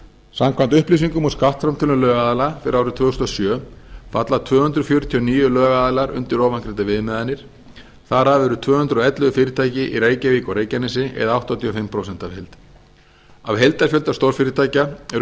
samkvæmt upplýsingum úr skattframtölum lögaðila fyrir árið tvö þúsund og sjö falla tvö hundruð fjörutíu og níu lögaðilar undir ofangreindar viðmiðanir þar af eru tvö hundruð og ellefu fyrirtæki í reykjavík og reykjanesi eða áttatíu og fimm prósent af heild af heildarfjölda stórfyrirtækja eru